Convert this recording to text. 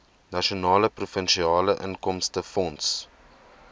nasionale provinsiale inkomstefonds